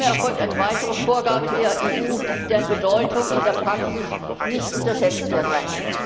Nunmehr erfolgt eine weitere Vorgabe der EU, deren Bedeutung in der Praxis nicht unterschätzt werden